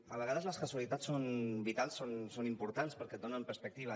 a vegades les casualitats són vitals són importants perquè et donen perspectiva